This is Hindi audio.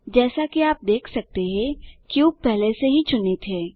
जैसा कि आप देख सकते हैं क्यूब पहले से ही चुनित है